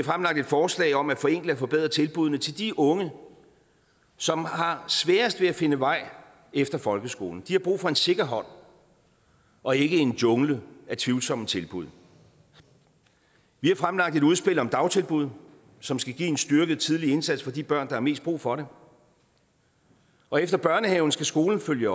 fremlagt et forslag om at forenkle og forbedre tilbuddene til de unge som har sværest ved at finde vej efter folkeskolen de har brug for en sikker hånd og ikke en jungle af tvivlsomme tilbud vi har fremlagt et udspil om dagtilbud som skal give en styrket tidlig indsats for de børn der har mest brug for det og efter børnehaven skal skolen følge